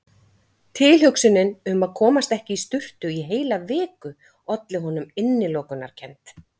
Tilhugsunin um að komast ekki í sturtu í heila viku olli honum innilokunarkennd.